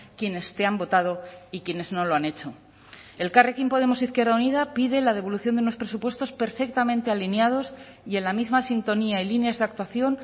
quienes te han votado y quienes no lo han hecho elkarrekin podemos izquierda unida pide la devolución de unos presupuestos perfectamente alineados y en la misma sintonía y líneas de actuación